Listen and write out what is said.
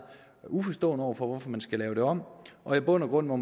uforstående over for hvorfor man skal lave det om og i bund og grund må